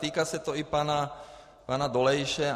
Týká se to i pana Dolejše.